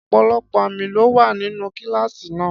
Ọ̀pọ̀lọpọ̀ àmì ló wà nínú kíláàsì náà.